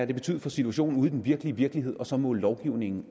betydet for situationen ude i den virkelige virkelighed og så måle lovgivningen